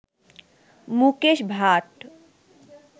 Mukesh Bhatt